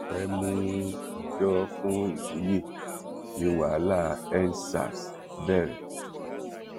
a fẹẹ mú ọjọ fún ìwúyẹ ni wàhálà endsars bẹrẹ